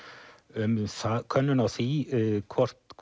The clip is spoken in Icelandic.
um könnun á því hvort